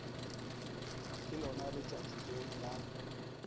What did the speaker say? ke lona letšatši leo la